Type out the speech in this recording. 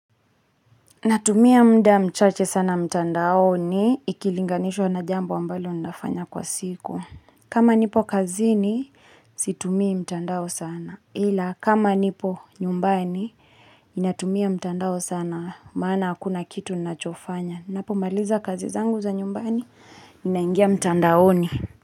Natumia mda mchache sana mtandaoni ikilinganishwa na jambo ambalo ninafanya kwa siku. Kama nipo kazini, situmii mtandao sana. Ila kama nipo nyumbani, ninatumia mtandao sana maana hakuna kitu nachofanya. Napomaliza kazi zangu za nyumbani, naingia mtandaoni.